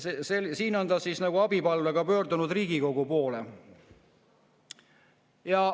" Siin on ta abipalvega pöördunud Riigikogu poole.